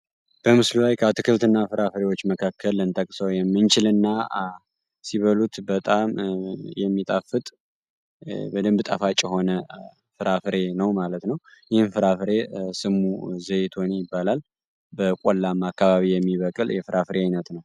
በምስሉ ላይ ከአትክልትና ፍራፍሬዎች መካክል ልንጠቅሰው የምንችል እና ሲበሉት በጣም የሚጣፍት በደንብ ጣፋጭ የሆነ ፍራፍሬ ነው ማለት ነው። ይህም ፍራፍሬ ስሙ ዘይቱና ይባላል። በቆላማ አካባቢ የሚበቅል የፍራፍሬ አይነት ነው።